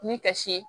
Ni kasi